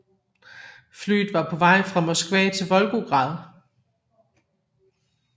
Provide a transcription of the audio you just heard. Flyet fra på vej fra Moskva til Volgograd